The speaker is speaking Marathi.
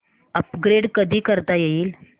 अपग्रेड कधी करता येईल